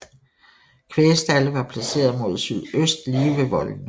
Kvægstalde var placerede mod sydøst lige ved voldene